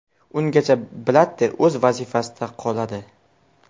Ungacha Blatter o‘z vazifasida qoladi.